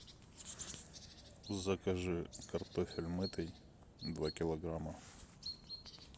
закажи картофель мытый два килограмма